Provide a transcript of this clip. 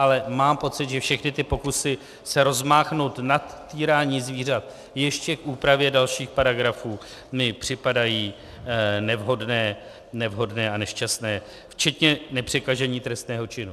Ale mám pocit, že všechny ty pokusy se rozmáchnout nad týrání zvířat ještě k úpravě dalších paragrafů mi připadají nevhodné a nešťastné, včetně nepřekažení trestného činu.